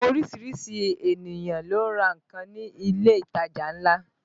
Àwọn orísìírísìí ènìyàn ló ń ra nǹkan ní ilé ìtajà ńlá